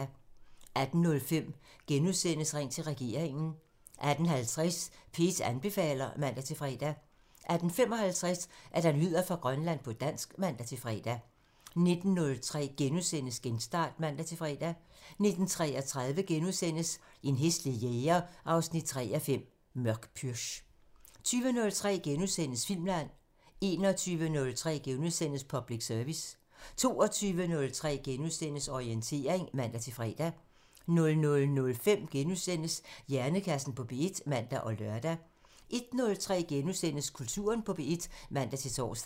18:05: Ring til regeringen *(man) 18:50: P1 anbefaler (man-fre) 18:55: Nyheder fra Grønland på dansk (man-fre) 19:03: Genstart *(man-fre) 19:33: En hæslig jæger 3:5 – Mørk pürch * 20:03: Filmland *(man) 21:03: Public Service *(man) 22:03: Orientering *(man-fre) 00:05: Hjernekassen på P1 *(man og lør) 01:03: Kulturen på P1 *(man-tor)